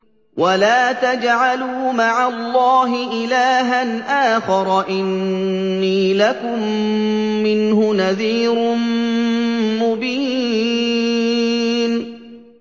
وَلَا تَجْعَلُوا مَعَ اللَّهِ إِلَٰهًا آخَرَ ۖ إِنِّي لَكُم مِّنْهُ نَذِيرٌ مُّبِينٌ